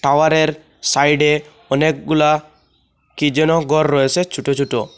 টাওয়ারের সাইডে অনেকগুলা কি যেন ঘর রয়েছে ছোট ছোট।